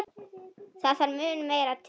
Það þarf mun meira til.